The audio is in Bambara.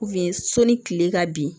sɔnni kile ka bin